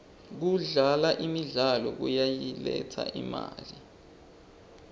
kudlala imidlalo kuyayiletsa imali